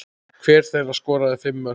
Hver þeirra skoraði fimm mörk.